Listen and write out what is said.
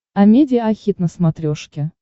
амедиа хит на смотрешке